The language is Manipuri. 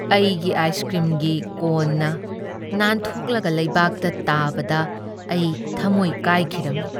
ꯑꯩꯒꯤ ꯑꯥꯏꯁ ꯀ꯭ꯔꯤꯝꯒꯤ ꯀꯣꯟꯅ ꯅꯥꯟꯊꯣꯛꯂꯒ ꯂꯩꯕꯥꯛꯇ ꯇꯥꯕꯗ ꯑꯩ ꯊꯃꯣꯏ ꯀꯥꯏꯈꯤꯔꯝꯃꯤ꯫